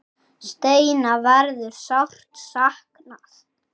Steina verður sárt saknað.